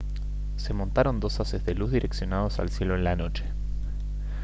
se montaron dos haces de luz direccionados al cielo en la noche